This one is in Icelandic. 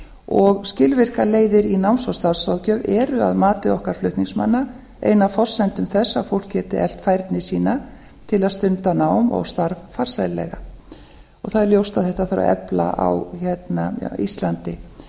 og skilvirkar leiðir í náms og starfsráðgjöf eru að mati okkar flutningsmanna ein af forsendum þess að fólk geti eflt færni sína til að stunda nám og starf farsællega það er ljóst að þetta þarf að efla á íslandi eftir